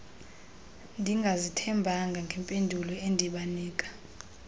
ndingazithembanga ngempendulo endibanika